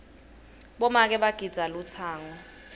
bomake bagidza lutsango